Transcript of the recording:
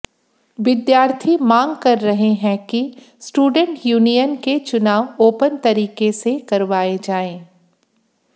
विद्यार्थी मांग कर रहे है कि स्टूडेंट यूनियन के चुनाव आेपन तरीके से करवाए जाएं